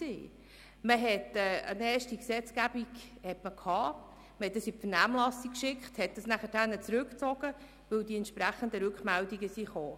Es kam zu einer ersten Gesetzgebung, die in die Vernehmlassung geschickt und danach aufgrund der entsprechenden Rückmeldungen zurückgezogen wurde.